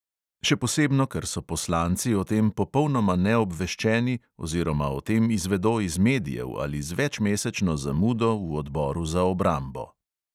Še posebno ker so poslanci o tem popolnoma neobveščeni oziroma o tem izvedo iz medijev ali z večmesečno zamudo v odboru za obrambo.